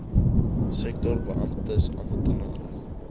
sektor beamptes amptenare